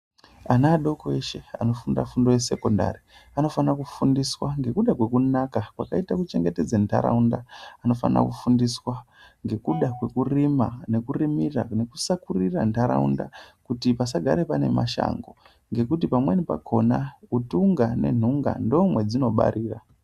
Ana adoko eshe anofunda fundo yesekondari anofane kufundiswa ngekuda kwekunaka kwakaita kuchengetedza ntaraunda. Vanofana kufundiswa ngekuda kwekurima nekurimira, nekusakurira ntaraunda kuti pasagare pane mashango. Ngekuti pamweni pakona utunga nentunga ndomwo mwadzinobarira.